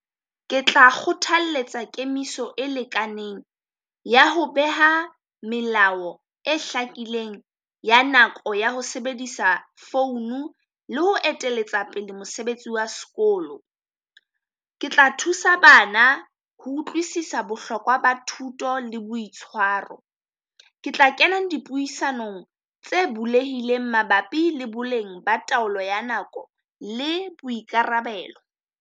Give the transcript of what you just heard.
Ke tla kgothalletsa kemiso e lekaneng ya ho beha melao e hlakileng ya nako ya ho sebedisa founu, le ho eteletsa pele mosebetsi wa sekolo. Ke tla thusa bana ho utlwisisa bohlokwa ba thuto le boitshwaro. Ke tla kenang dipuisanong tse bulehileng mabapi le boleng ba taolo ya nako le boikarabelo.